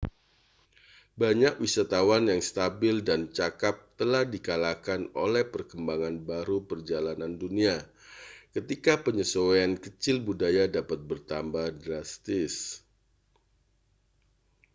banyak wisatawan yang stabil dan cakap telah dikalahkan oleh perkembangan baru perjalanan dunia ketika penyesuaian kecil budaya dapat bertambah drastis